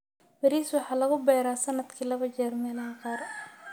Bariis: waxa lagu beeraa sanadkii laba jeer meelaha qaar.